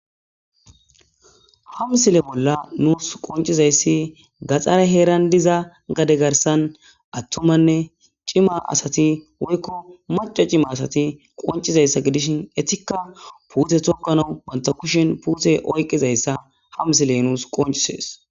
Ha msile bolla nuus qoncizayssi gaxxare heeran diza gade garsan attumanne cima asati woykko maca cima asati qoncizayssa gidishin etikka puute tokana banta kushen puute oyqizayssa hamsiley nuus qoncisees